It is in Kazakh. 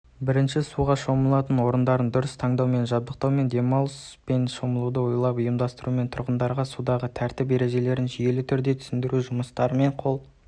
бірінші суға шомылатын орындарын дұрыс таңдаумен жабдықтаумен демалыс пен шомылуды ойланып ұйымдастырумен тұрғындарға судағы тәртіп ережелерін жүйелі түрде түсіндіру жұмыстарымен қол